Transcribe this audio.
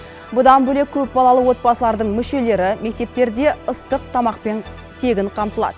бұдан бөлек көпбалалы отбасылардың мүшелері мектептерде ыстық тамақпен тегін қамтылады